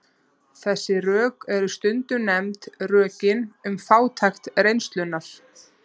Þessi rök eru stundum nefnd rökin um fátækt reynslunnar.